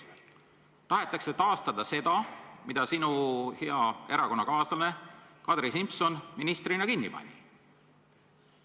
Tahetakse taastada seda, mille sinu hea erakonnakaaslane Kadri Simson ministrina kinni pani.